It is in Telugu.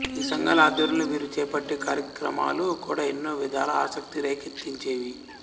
ఈ సంఘాల ఆధ్వర్యంలో వీరు చేపట్టే కార్యక్రమాలు కూడా ఎన్నో విధాలా ఆసక్తి రేకెత్తించేవి